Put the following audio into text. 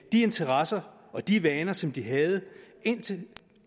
interesser og de vaner som de havde indtil